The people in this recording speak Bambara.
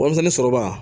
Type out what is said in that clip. Warimisɛnni sɔrɔbaga